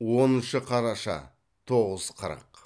оныншы қараша тоғыз қырық